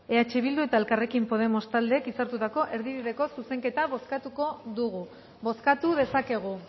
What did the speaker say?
mesedez kamara hau eh bildu eta elkarrekin podemos taldeek hitzartutako erdibideko zuzenketa bozkatuko dugu bozkatu dezakegu